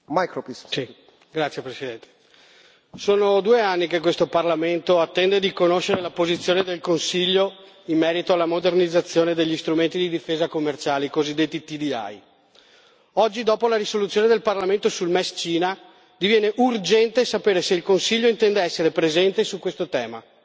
Signor Presidente, onorevoli colleghi, sono due anni che questo Parlamento attende di conoscere la posizione del Consiglio in merito alla modernizzazione degli strumenti di difesa commerciale, i cosiddetti TDI. Oggi, dopo la risoluzione del Parlamento sulla concessione del MES alla Cina, diviene urgente sapere se il Consiglio intende essere presente su questo tema